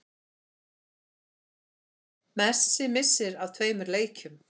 Messi missir af tveimur leikjum